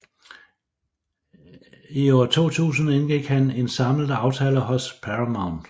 I 2000 indgik han en samlet aftale hos Paramount